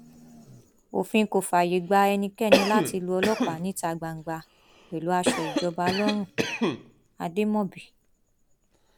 òfin kò fààyè gba ẹnikẹni láti lu ọlọpàá níta gbangba pẹlú aṣọ ìjọba lọrùnademóbì